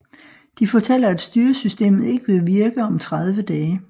De fortæller at styresystemet ikke vil virke om 30 dage